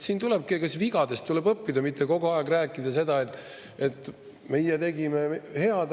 Siin tulebki vigadest õppida, mitte kogu aeg rääkida seda, et meie tegime head.